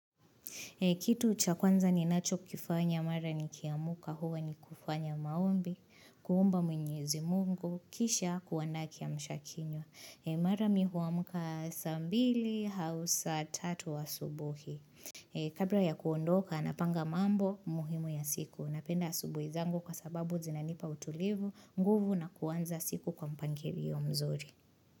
Kitu cha kwanza ninacho kifanya mara nikiamka huwa ni kufanya maombi, kuomba mwenyezi mungu, kisha kuanda kiamsha kinywa. Mara mimi huamka saa mbili au saa tatu asubuhi. Kabla ya kuondoka napanga mambo muhimu ya siku. Napenda asubuhi zangu kwa sababu zinanipa utulivu, nguvu na kuanza siku kwa mpangilio mzuri.